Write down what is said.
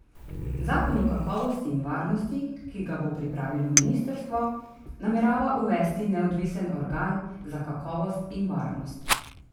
Zakon o kakovosti in varnosti, ki ga bo pripravilo ministrstvo, namerava uvesti neodvisen organ za kakovost in varnost.